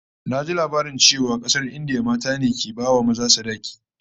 Naji labarin cewa a kasar India mata ne ke bai wa maza sadaki